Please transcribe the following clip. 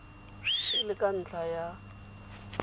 e le ka ntlha ya